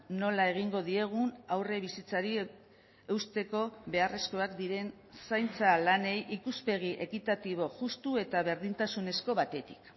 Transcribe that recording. nola egingo diegun aurre bizitzari eusteko beharrezkoak diren zaintza lanei ikuspegi ekitatibo justu eta berdintasunezko batetik